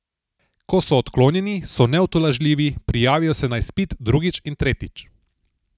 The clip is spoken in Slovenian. Ko so odklonjeni, so neutolažljivi, prijavijo se na izpit drugič in tretjič.